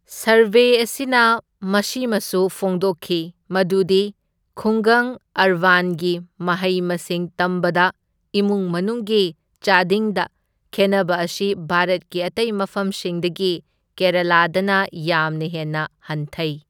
Survey ꯑꯁꯤꯅ ꯃꯁꯤꯃꯁꯨ ꯐꯣꯡꯗꯣꯛꯈꯤ ꯃꯗꯨꯗꯤ ꯈꯨꯡꯒꯪ ꯑꯔꯕꯥꯟꯒꯤ ꯃꯍꯩ ꯃꯁꯤꯡ ꯇꯝꯕꯗ ꯏꯃꯨꯡ ꯃꯅꯨꯡꯒꯤ ꯆꯥꯗꯤꯡꯗ ꯈꯦꯟꯅꯕ ꯑꯁꯤ ꯚꯥꯔꯠꯀꯤ ꯑꯇꯩ ꯃꯐꯝꯁꯤꯡꯗꯒꯤ ꯀꯦꯔꯥꯂꯥꯗꯅ ꯌꯥꯝꯅ ꯍꯦꯟꯅ ꯍꯟꯊꯩ꯫